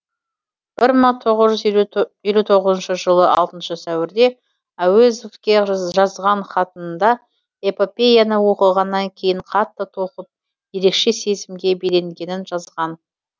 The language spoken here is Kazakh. бір мың тоғыз жүз елу тоғызыншы жылы алтыншы сәуірде әуезовке жазған хатында эпопеяны оқығаннан кейін қатты толқып ерекше сезімге беленгенін жазған